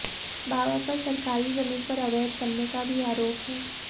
बाबा पर सरकारी जमीन पर अवैध कब्जा करने का भी आरोप है